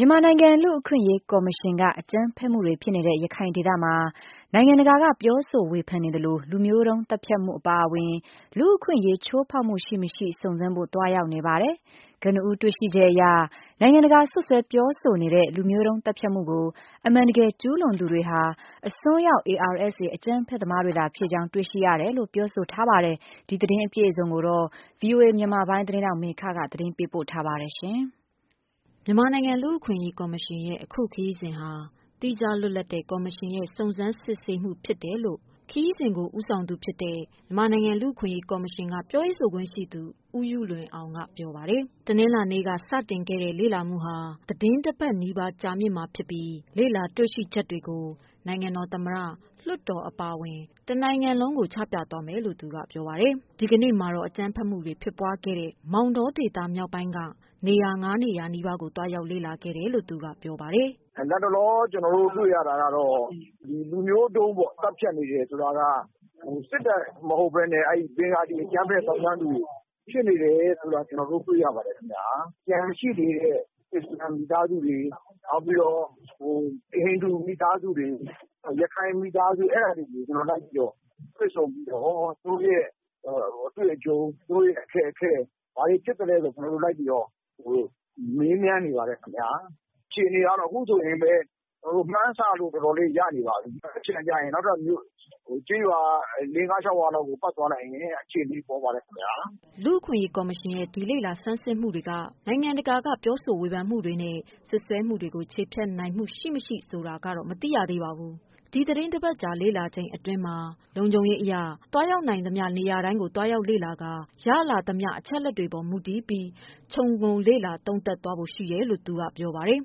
မြန်မာနိုင်ငံ လူ့အခွင့်အရေးကော်မရှင်က အကြမ်းဖက်မှုတွေဖြစ်နေတဲ့ ရခိုင်ဒေသမှာ နိုင်ငံတကာက ပြောဆိုဝေဖန် နေသလို လုမျိုးတုံးသတ်ဖြတ်မှုအပါအဝင် လူ့အခွင့်အရေးချိုးဖောက်မှုရှိမရှိ စုံစမ်းဖို့သွားရောက်နေပါတယ်။ ကနဦးတွေ့ချက်အရ နိုင်ငံတကာစွပ်စွဲပြောဆိုနေတဲ့ လုမျိုးတုံးသတ်ဖြတ်မှုကို အမှန်တကယ်ကျူးလွန်သူတွေဟာ အစွန်းရောက် ARSA အကြမ်းဖက်သမားတွေသာဖြစ်ကြောင်း တွေ့ရတယ်လို့ပြောပါတယ်။ ဒီသတင်းကို ဗွီအိုအေ မြန်မာပိုင်းက မေခကပေးပို့ထားပါတယ်။ မြန်မာနိုင်ငံ လူ့အခွင့်အရေးကော်မရှင်ရဲ့အခုခရီးစဉ်ဟာ သီးခြားလွတ်လပ်တဲ့ ကော်မရှင်ရဲ့ စုံစမ်းစစ်ဆေးမှုဖြစ်တယ်လို့ ခရီးစဉ်ကိုဦးဆောင်တဲ့ မြန်မာနိုင်ငံ လူ့အခွင့်အရေးကော်မရှင်ပြောရေးဆိုခွင့်ရှိသူ ဦးယုလွင်အောင်က ပြောပါတယ်။ တနလာၤနေ့က စတင်ခဲ့တဲ့ လေ့လာမူဟာ သီတင်း ၁ ပတ်နီးပါးကြာမှာဖြစ်ပြီး လေ့လာတွေ့ရှိချက်တွေကို နိုင်ငံတော်သမ္မတ ၊ လွှတ်တော်အပါအဝင် တနိုင်ငံလုံးကို ချပြသွားမယ်လို့ သူကပြောပါတယ်။ ဒီကနေ့မှာတော့ အကြမ်းဖက်မူတွေဖြစ်ပွားခဲ့တဲ့ မောင်တောဒေသမြောက်ပိုင်းက နေရာ ၅ နေရာ နီးပါးကို သွားရောက်လေ့လာခဲ့တယ်လို့ သူကပြောပါတယ်။ "လက်တလောကျနော်တို့ တွေ့ရတာကတော့ လူမျိုးတုံးသတ်ဖြတ်နေတယ်ဆိုတာက စစ်တပ်မဟုတ်ပဲနဲ့ ဘင်္ဂလီအကြမ်းဖက် သောင်းကျန်းသူတွေ ဖြစ်နေတယ်ဆိုတာ ကျနော်တို့ တွေ့ရပါတယ်ခင်ဗျ။ ကျန်ရှိနေတဲ့ အစ္စလာမ်မိသားစုတွေ နောက်ပြီးတော့ ဟိန္ဒူမိသားစုတွေ ၊ ရခိုင်မိသားစုတွေကိုလိုက်ပြီးတော့ တွေ့ဆုံပြီးတော့ ၊ သူတို့အတွေ့အကြုံ သူတို့အခက်အခဲ ၊ ဘာတွေဖြစ်သလဲဆိုပြီးတော့ ကျနော်တို့ လက်ပြီးတော့ မေးမြန်းနေပါတယ်ခင်ဗျ အခြေအနေကတော့ အခုဆိုရင်လည်း မှန်းဆလို့တော်တော်လေးရနေပါပြီ။ မနက်ဖြန်ကျရင်လည်း နောက်ထပ်မြို့ ၊ ကျေးရွာ ၅-၄-၆ ရွာလောက်ကို ပတ်သွားနိုင်ပါတယ်ခင်ဗျ။” လူ့အခွင့်အရေးကော်မရှင်ရဲ့လေ့လာဆန်းစစ်မှုတွေက နိုင်ငံတကာက ပြောဆိုဝေဖန်မှုတွေနဲ့ စွပ်စွဲမှုတွေကို ချေဖျက်နိုင်မှုရှိမရှိဆိုတာကတော့ မသိရသေးပါဘူး။ ဒီသီတင်းတပတ်အကြာလေ့လာတဲ့အတွင်းမှာ လုံခြုံရေးအရ သွားနိုင်သမျှနေရာတိုင်းကို သွားရောက်လေ့လာက ရလာသမျှအချက်အလက်တွေအပေါ်မူတည်ပြီး ခြုံငုံလေ့လာသုံးသပ်သွားဖို့ ရှိတယ်လို့ သူကပြောပါတယ်။ “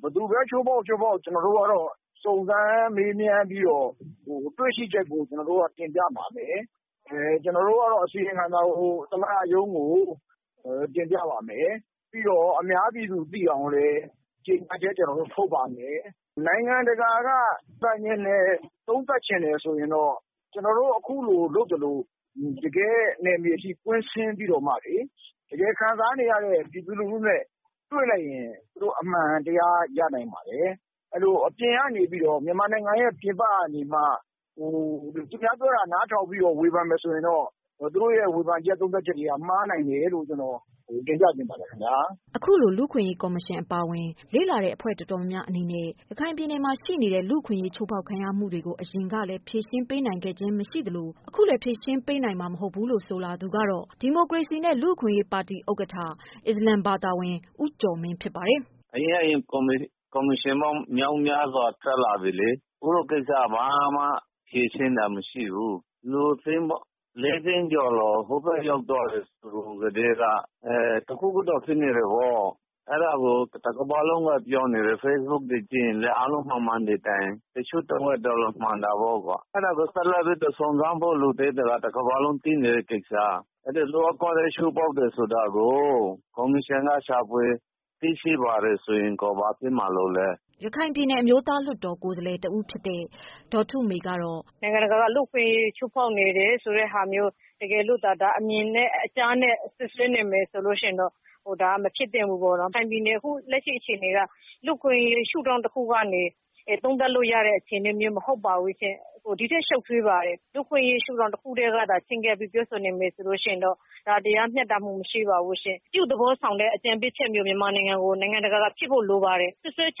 ဘယ်သူပဲ ချိုးဖောက်ချိုးဖောက် ကျနော်တို့ကတော့ စုံစမ်းမေးမြန်းပြီးတော့ တွေ့ရှိချက်ကို တင်ပြပါမယ်။ ကျနော်တို့ကတော့ အစီရင်ခံစာကို သမ္မတရုံးကို တင်ပြပါမယ်။ ပြီးတော့ အများပြည်သူသိအောင်လည်း ကြေညာချက်ကျနော်တို့ ထုတ်ပါမယ်။ နိုင်ငံတကာက သုံးသပ်ချင်တယ်ဆိုရင်တေ့ာ ကျနော်တို့အခုလိုလုပ်သလို တကယ့် နယ်မြေအထိကွင်းဆင်းပြီးတော့မှ ခံစားနေရတဲ့ ပြည်သူလူထုနဲ့ တွေ့လိုက်ရင် သူတို့ အမှန်တရားရနိုင်ပါတယ်။အပြင်ကနေပြီးတေ့ မြန်မာနိုင်ငံ ပြင်ပကနေပြီးတော့ သူများပြောတာ နားထောင်ပြီးတော့ ဝေဖန်မယ်ဆိုရင်တော့ သူတို့ဝေဖန်ချက်သုံးသပ်ချက်တွေ မှားနိုင်တယ်လို့ ကျနေ်ာတင်ပြချင်ပါတယ်။ အခုလို လူ့အခွင့်အရေးကော်မရှင်အပါအဝင် လေ့လာတဲ့အဖွဲ့တော်တေ်ာများများအနေနဲ့ ရခိုင်ပြည်နယ်မှာရှိနေတဲ့ လူ့အခွင့်အရေးချိုးဖောက်ခံရမှုတွေကို အရင်ကလည်း ဖြေရှင်းပေးနိုင်ခဲ့ခြင်းမရှိသလို အခုလည်း ဖြေရှင်းပေးနိုင်မှာမဟုတ်ဘူးလို့ ဆိုလာသူကတော့ ဒီမိုကရေစီနဲ့ လူ့အခွင့်အရေးပါတီဥက္ကဋ္ဌ အစ္စလာမ်ဘာသာဝင် ဦးကျော်မင်းဖြစ်ပါတယ်။ “အရင့်အရင် ကော်မရှင်ပေါင်းမြောက်များစွာထွက်လာပြီလေ အခုကိစ္စကို ဘာမှဖြေရှင်းတာမရှိဘူး ။ လူ ၄ သိန်းကျော် ဟိုဘက်ရောက်သွားတယ်ဆိုကတည်းက တခုခုတော့ ဖြစ်နေတယ်။ အဲဒါကို တကမ္ဘာလုံးကပြောနေတယ်၊ Facebook တွေကြည့်ရင်လည်း အားလုံးမမှန်သည့်တိုင် တချို့တဝက်ကတော့ မှန်တာပေါ့ ။ အဲဒါကို ဆက်လက်ပြီးစုံစမ်းဖို့လိုတာကို တကမ္ဘာလုံးကသိနေတဲ့ကိစ္စ။လူ့အခွင့်အရေးချိုးဖောက်တယ်ဆိုတာကို ကော်မရှင်ကရှာဖွေသိရှိပါတယ်ဆိုရင် ဘာဖြစ်မှာလို့လဲ။” ရခိုင်ပြည်နယ်အမျိုးသားလွှတ်တော်ကိုယ်စားလှယ်တဦးဖြစ်တဲ့ ဒေါ်ထုမေကတော့ “နိုင်ငံတကာက လူ့အခွင့်အရေးချိုးဖောက်နေတဲ့ဟာမျိုး တကယ်လို့သာ ဒါအမြင်နဲ့ အကြားနဲ့ စွပ်စွဲနေမယ်ဆိုရင် ဒါမဖြစ်သင့်ဘူးပေါ့နော် ဒါရခိုင်ပြည်နယ် လက်ရှိအခြေအနေက လူ့အခွင့်အရေးချိုးဖောက်တဲ့ ရှုထောင့်တခုကနေ သုံးသပ်လို့ရတဲ့အခြေအနေမျိုးမဟုတ်ပါဘူးရှင့်။ ဒီထက်ရှုပ်ထွေးပါတယ်။ လူ့အခွင့်အရေး ရှုထောင့်တခုကနေ ပြောဆိုနေမယ်ဆိုရင်တော့ ဒါတရားမျှတမှုမရှိပါဘူးရှင့်၊ အပြုသဘောဆောင်တဲ့ အကြံပေးချက်မျိုးမြန်မာနိုင်ငံကို နိုင်ငံတကာ က ကြည့်ဖို့လိုပါတယ်။ စွပ်စွဲချ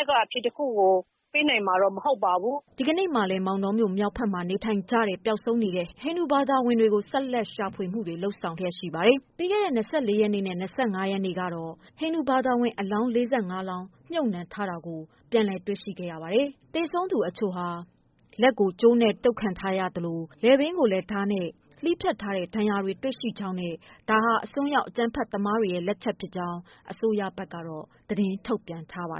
က်က အဖြေတခုကို ပေးနိုင်မှာတော့ မဟုတ်ပါဘူး။” ဒီကနေ့မှာလည်း မောင်တောမြို့မြောက်ဘက်မှာနေထိုင်ကြတဲ့ ပျောက်ဆုံးနေတဲ့ ဟိန္ဒူဘာသာဝင်တွေကို ဆက်လက်ရှာဖွေမှုတွေရှိပါတယ်။ ပြီးခဲ့တဲ့ ၂၄ ရက်နေ့နဲ့ ၂၅ ရက်နေ့ကတော့ ဟိန္ဒူဘာသာဝင်အလောင်း ၄၅ လောင်းမြုပ်နှံထားတာကို ပြန်လည်တွေ့ရှိခဲ့ရပါတယ်။ သေဆုံးသူအချို့ဟာ လက်ကိုကြိုးနဲ့ တုတ်ခံထားရသလို လည်ပင်းကိုလည်း ဓါးနဲ့ လှီးဖြတ်ထားတဲ့ ဒဏ်ရာတွေတွေ့ရှိကြောင်းနဲ့ ဒါဟာအစွန်းရောက်သမားတွေလက်ချက်ဖြစ်ကြောင်း အစိုးရဘက်ကတော့ သတင်းထုတ်ပြန်ထားပါ